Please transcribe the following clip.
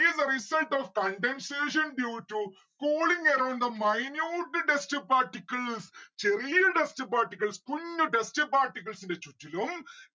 is the result of condensation due to cooling around the minute dust particles ചെറിയ dust particles കുഞ്ഞു dust particles ന്റെ ചുറ്റിലും